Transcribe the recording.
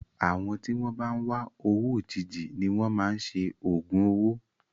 Àwọn tí wọn bá ń wá owó òjijì ni wọn máa ń ṣe ògùn owó.